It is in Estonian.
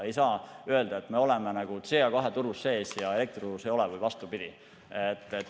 Ei saa öelda, et me oleme CO2 turul sees, aga elektriturul ei ole või vastupidi.